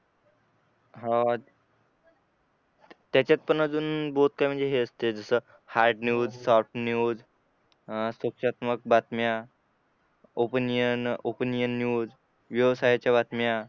हा त्याच्यात पण अजून बोध काय म्हणजे हे असते जस हार्ड न्यूज सॉफ्ट न्यूज अं त्याच्यात मग बातम्या ओपनिंग ओपनिंग न्यूज व्यवसायाच्या बातम्या